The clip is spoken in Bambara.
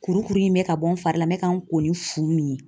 Kurukuru in bɛ ka bɔ n fari la n bɛ ka n ko ni fu min ye